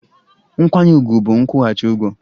Nkwanye ùgwù bụ nkwụghachi ụgwọ